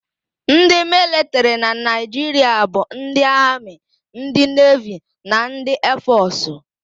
Ndị militrị na Naịjiria bụ ndị amị, ndị nevi na ndị eefọsụ.